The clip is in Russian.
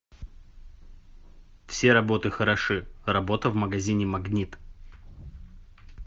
все работы хороши работа в магазине магнит